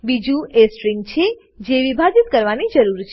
બીજું એ સ્ટ્રીંગ છે જે વિભાજિત કરવાની જરૂર છે